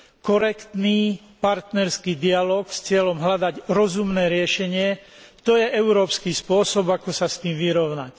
Korektný partnerský dialóg s cieľom hľadať rozumné riešenie, to je európsky spôsob, ako sa s tým vyrovnať.